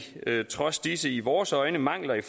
trods disse i vores øjne mangler i